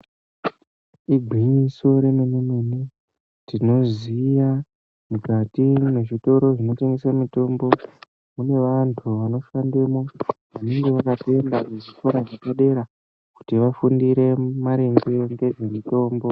igwinyiso remene remene tinoziva mukati mezvitoro zvinotengeswa mitombo mune vanhu vanoshandemwo vakatoenda kuzvikora zvepadera kuti vafundire maringe ngezvemitombo